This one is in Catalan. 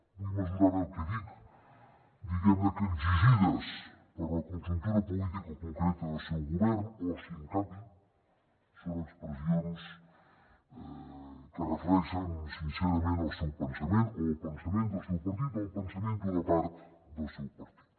vull mesurar bé el que dic diguem ne exigides per la conjuntura política concreta del seu govern o si en canvi són expressions que reflecteixen sincerament el seu pensament o el pensament del seu partit o el pensament d’una part del seu partit